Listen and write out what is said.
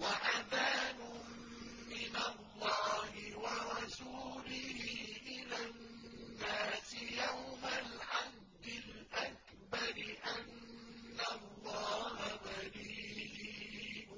وَأَذَانٌ مِّنَ اللَّهِ وَرَسُولِهِ إِلَى النَّاسِ يَوْمَ الْحَجِّ الْأَكْبَرِ أَنَّ اللَّهَ بَرِيءٌ